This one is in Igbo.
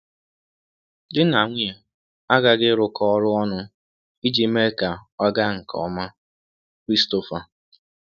Di na nwunye aghaghị ịrụkọ ọrụ ọnụ um iji mee ka ọ um gaa um nke ọma.” – Christopher.